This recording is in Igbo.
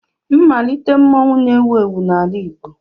Mmalite mmanwụ na-ewu ewu n'ala igbo.